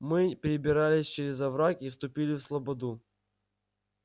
мы перебирались через овраг и вступили в слободу